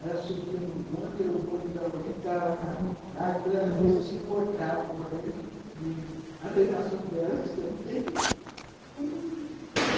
Elas subiam no bonde, o bonde já entrava lá, depois elas desciam, voltavam correndo, e a reinação delas também